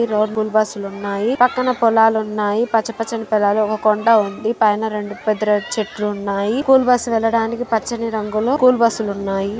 Bus లు ఉన్నాయి పక్కన పొలాలు ఉన్నాయి పచ్చపచ్చని పొలాలు ఒక్క కొండ ఉంది. పైన రెండు పెద్ద చెట్లు ఉన్నాయి స్కూల్ బస్సు వెళ్ళడానికి పచ్చని రంగును స్కూల్ బస్సు ఉన్నాయి.